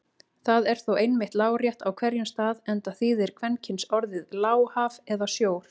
Það er þó einmitt lárétt á hverjum stað enda þýðir kvenkynsorðið lá haf eða sjór.